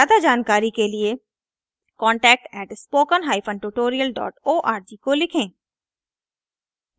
ज्यादा जानकारी के लिए contact@spokentutorialorg को लिखें